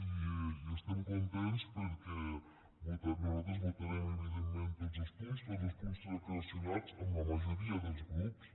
i estem contents perquè nosaltres votarem evidentment tots els punts tots els punts transaccionats amb la majoria dels grups